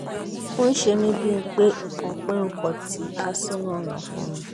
ó ń ṣe mí bíi pé nǹkan pé nǹkan kan ti há sínú ọ̀nà ọ̀fun mi